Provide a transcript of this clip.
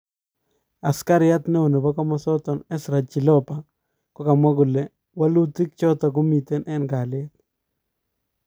Askariat neo nepo komosa nato Ezra Chiloba kokamwa kole welutik chato komiten en kaliet